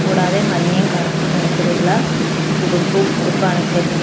കൂടാതെ മഞ്ഞയും കറുപ്പും നിറത്തിലുള്ള ഉടുപ്പു ഉടുപ്പാണ് ഇട്ടേക്കുന്നെ.